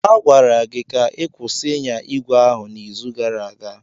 A gwara gị ka ị kwụsị ịnya ígwè ahụ n'izu gara aga!